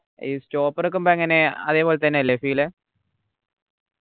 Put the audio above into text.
ഈ stopper നിക്കുമ്പോ എങ്ങനെ അതേപോലെതന്നെ അല്ലെ feel